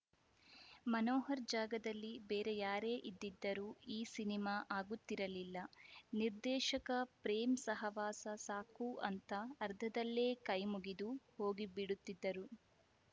ಮನೋಹರ್‌ ಜಾಗದಲ್ಲಿ ಬೇರೆ ಯಾರೇ ಇದಿದ್ದರೂ ಈ ಸಿನಿಮಾ ಆಗುತ್ತಿರಲಿಲ್ಲ ನಿರ್ದೇಶಕ ಪ್ರೇಮ್‌ ಸಹವಾಸ ಸಾಕು ಅಂತ ಅರ್ಧದಲ್ಲೇ ಕೈ ಮುಗಿದು ಹೋಗಿ ಬಿಡುತ್ತಿದ್ದರು